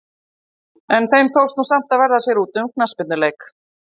En þeim tókst nú samt að verða sér úti um knattspyrnuleik.